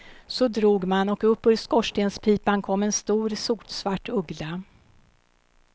Så drog man och upp ur skorstenspipan kom en stor, sotsvart uggla.